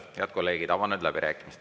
Head kolleegid, avan nüüd läbirääkimised.